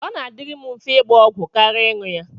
Ọ na-adịrị m mfe ịgba ọgwụ kara ịṅụ ya.